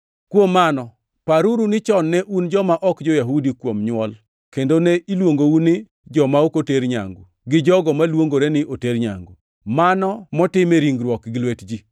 Kuom mano paruru ni chon ne un joma ok jo-Yahudi kuom nywol kendo ne iluongou ni “joma ok oter nyangu” gi jogo maluongore ni “oter nyangu” (mano motim e ringruok gi lwet ji);